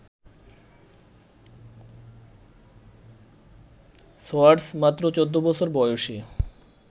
Swartz মাত্র ১৪ বছর বয়সে